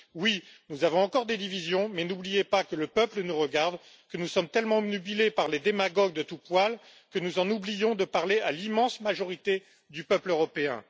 Oui, nous avons encore des divisions mais n'oubliez pas que le peuple nous regarde, que nous sommes tellement obnubilés par les démagogues de tout poil que nous en oublions de parler à l'immense majorité du peuple européen.